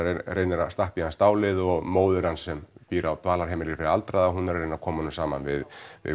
reynir að stappa í hann stálið og móðir hans sem býr á dvalarheimili fyrir aldraða er að reyna að koma honum saman við